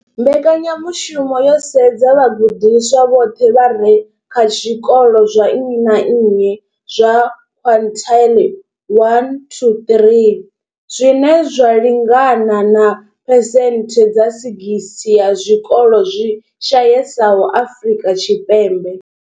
Mbekanya mushumo yo sedza vhagudiswa vhoṱhe vha re kha zwikolo zwa nnyi na nnyi zwa quintile 1-3, zwine zwa lingana na phesenthe dza 60 ya zwikolo zwi shayesaho Afrika Tshipembe.